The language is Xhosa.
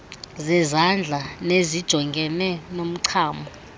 zezandla nezijongene nomchamo